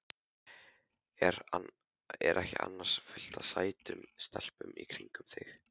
Er ekki annars fullt af sætum stelpum í kringum þig?